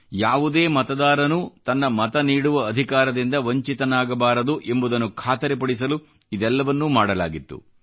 ಯಾವುದೇ ಮತದಾರನೂ ತನ್ನ ಮತ ನೀಡುವ ಅಧಿಕಾರದಿಂದ ವಂಚಿತನಾಗಬಾರದು ಎಂಬುದನ್ನು ಖಾತರಿಪಡಿಸಲು ಇದೆಲ್ಲವನ್ನೂ ಮಾಡಲಾಗಿತ್ತು